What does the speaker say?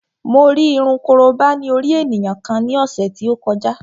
Mo rí irun korobá ní orí ènìyàn kan ní ọ̀sẹ̀ tí ó kọjá